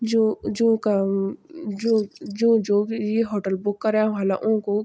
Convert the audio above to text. जू जूका जू जू जो भि ये होटल बुक करयां ह्वाला ऊको --